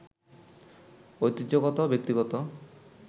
ঐতিহ্যগত, ব্যক্তিগত